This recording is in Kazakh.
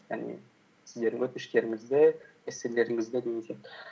яғни сіздердің өтініштеріңізді эсселеріңізді деген сияқты